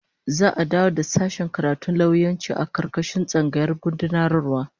Za'a dawo da sashen karatun lauyanci a karkashin tsangayar gudanarwa